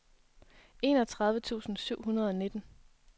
enogtredive tusind syv hundrede og nitten